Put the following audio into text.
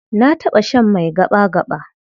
Na taɓa shan mai gaɓa-gaɓa.